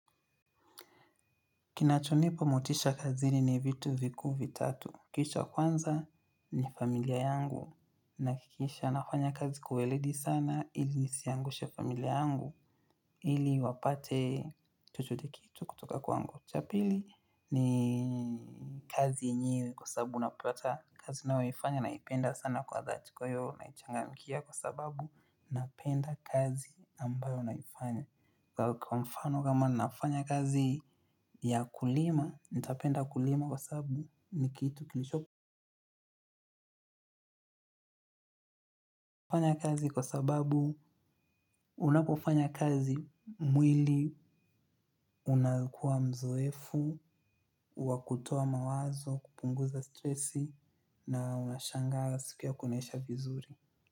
Kinachonipa motisha kazini ni vitu vikuu vitatu. Kisha kwanza ni familia yangu nahakikisha nafanya kazi kwa weledi sana ili nisiangushe familia yangu ili wapate chochote kile kutoka kwangu. Cha pili ni kazi yenyewe kwa sababu unapata kazi nayoifanya naipenda sana kwa dhati kwa hiyo naichangamkia kwa sababu napenda kazi ambayo naifanya. Kwa mfano kama ninafanya kazi ya kulima, nitapenda kulima kwa sababu ni kitu kilicho. Kufanya kazi kwa sababu unapofanya kazi mwili, unakua mzoefu, wa kutoa mawazo, kupunguza stressi na unashangaa siku yako inaisha vizuri.